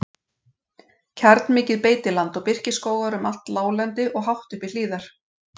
Kjarnmikið beitiland og birkiskógar um allt láglendi og hátt upp í hlíðar.